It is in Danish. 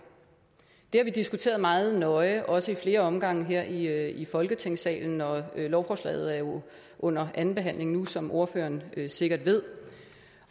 det har vi diskuteret meget nøje også ad flere omgange her her i folketingssalen og lovforslaget er jo under anden behandling nu som ordføreren sikkert ved